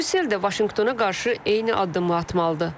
Brüssel də Vaşinqtona qarşı eyni addımı atmalıdır.